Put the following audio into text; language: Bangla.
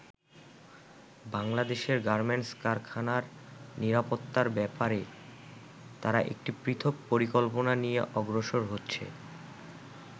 বাংলাদেশের গার্মেন্টস কারখানার নিরাপত্তার ব্যাপারে তারা একটি পৃথক পরিকল্পনা নিয়ে অগ্রসর হচ্ছে।